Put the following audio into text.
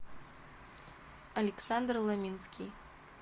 александр ломинский